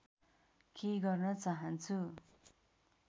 केही गर्न चाहन्छु